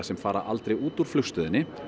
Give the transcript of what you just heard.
sem fara aldrei út úr flugstöðinni